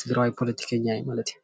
ትግራዋይ ፖለቲከኛ እዩ ማለት እዩ፡፡